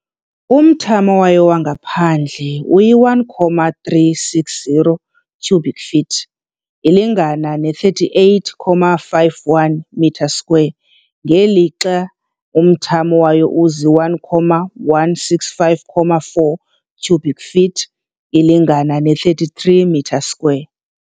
Umthamo wayo wangaphandle uyi-1,360 cubic feet, ilingana ne 38.51 m³, ngelixa umthamo wayo uzi-1,165.4 cubic feet, ilingana ne 33 m³.